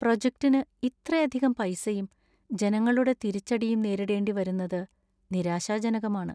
പ്രോജക്ടിനു ഇത്രയധികം പൈസയും, ജനങ്ങളുടെ തിരിച്ചടിയും നേരിവേണ്ടി വരുന്നത് നിരാശാജനകമാണ്.